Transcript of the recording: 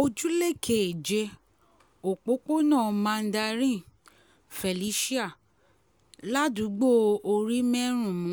ojúlé keje òpópónà mandarin felicia ládùúgbò orímẹ́rùnmù